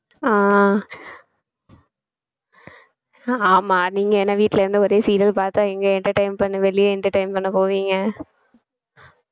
ஆஹ் ஆமா நீங்க என்னை வீட்டுல இருந்து ஒரே serial பார்த்தா எங்க entertain பண்ணு வெளிய entertain பண்ண போவீங்க